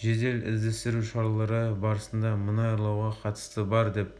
жедел-іздестіру шаралары барысында мұнай ұрлауға қатысы бар деп